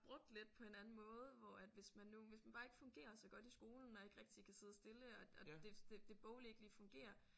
Brugt lidt på en anden måde hvor at hvis man nu hvis man bare ikke fungerer så godt i skolen og ikke rigtig kan sidde stille og og det det det boglige ikke lige fungerer